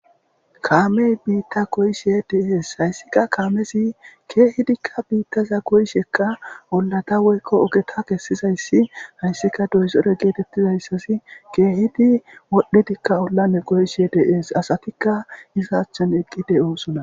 Kaamey biitta koyishe dees hayssika kaamesi keehidikka biittaza koyishekka ollata woykko ogeta kessizayssi hayssika doyzore geetettizayssasi keehidi wodhidikka ollame qoyishe dees asatikka hiza achchan eqqi de'o sona.